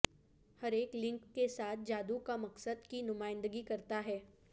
ہر ایک لنک کے ساتھ جادو کا مقصد کی نمائندگی کرتا ہے